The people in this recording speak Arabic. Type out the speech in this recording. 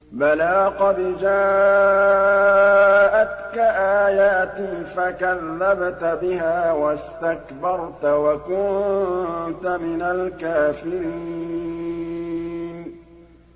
بَلَىٰ قَدْ جَاءَتْكَ آيَاتِي فَكَذَّبْتَ بِهَا وَاسْتَكْبَرْتَ وَكُنتَ مِنَ الْكَافِرِينَ